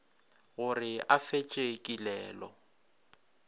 go re a fetše kilelo